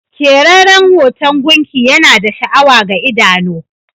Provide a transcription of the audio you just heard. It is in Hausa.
Keraren hoton gunki Yana da sha'awa ga idano.